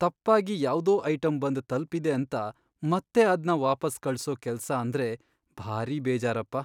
ತಪ್ಪಾಗಿ ಯಾವ್ದೋ ಐಟಮ್ ಬಂದ್ ತಲ್ಪಿದೆ ಅಂತ ಮತ್ತೆ ಅದ್ನ ವಾಪಾಸ್ ಕಳ್ಸೋ ಕೆಲ್ಸ ಅಂದ್ರೆ ಭಾರೀ ಬೇಜಾರಪ್ಪ.